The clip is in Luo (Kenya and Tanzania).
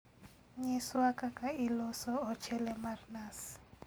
Nyiswa kaka iloso ochele mar nas